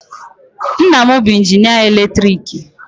Nna m bụ injinịa eletriki.